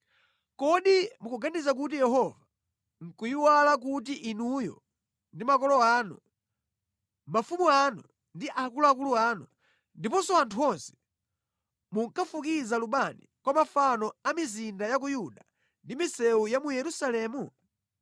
“Kodi mukuganiza kuti Yehova nʼkuyiwala kuti inuyo ndi makolo anu, mafumu anu ndi akuluakulu anu, ndiponso anthu onse, munkafukiza lubani kwa mafano a mʼmizinda ya ku Yuda ndi mʼmisewu ya mu Yerusalemu?